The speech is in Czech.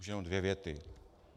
Už jenom dvě věty.